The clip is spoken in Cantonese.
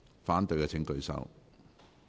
反對的請舉手。